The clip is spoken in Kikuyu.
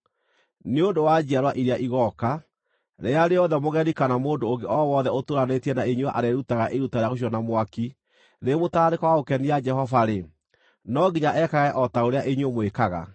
Nĩ ũndũ wa njiarwa iria igooka, rĩrĩa rĩothe mũgeni kana mũndũ ũngĩ o wothe ũtũũranĩtie na inyuĩ arĩĩrutaga iruta rĩa gũcinwo na mwaki rĩrĩ mũtararĩko wa gũkenia Jehova-rĩ, no nginya ekage o ta ũrĩa inyuĩ mwĩkaga.